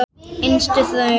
Yngstu hraun